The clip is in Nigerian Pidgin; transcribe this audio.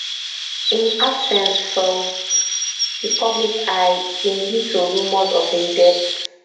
im absence from di public eye bin lead to rumours of im death